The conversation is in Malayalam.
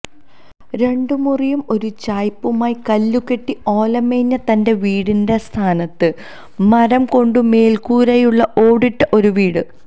രണ്ടുമുറിയും ഒരു ചായിപ്പുമായി കല്ലുകെട്ടി ഓലമേഞ്ഞ തന്റെ വീടിന്റെ സ്ഥാനത്ത് മരം കൊണ്ടു മേൽക്കൂരയുളള ഓടിട്ട ഒരു വീട്